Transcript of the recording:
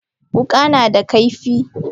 Wuka nada kaifi.